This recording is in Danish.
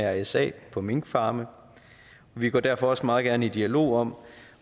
af mrsa på minkfarme og vi går derfor også meget gerne i dialog om